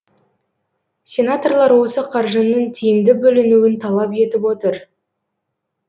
сенаторлар осы қаржының тиімді бөлінуін талап етіп отыр